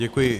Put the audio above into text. Děkuji.